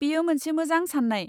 बेयो मोनसे मोजां साननाय।